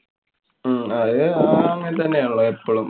ഹും അത് അതങ്ങനെ തന്നാണല്ലോ എപ്പളും.